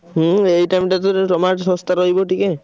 ହୁଁ ଏଇ time ଟା ତ ଟିକେ tomato ଶସ୍ତା ରହିବ ଟିକେ।